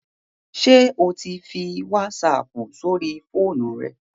Ṣé o ti ń fi wásaapù sóri fóònù rẹ?